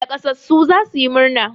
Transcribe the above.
Naƙasassu za su yi murna.